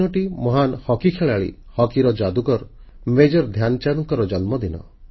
ଏହି ଦିନଟି ମହାନ୍ ହକି ଖେଳାଳି ହକିର ଯାଦୁକର ମେଜର ଧ୍ୟାନଚାନ୍ଦଙ୍କର ଜନ୍ମଦିନ